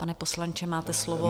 Pane poslanče, máte slovo.